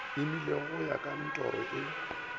imeile go ka ntoro e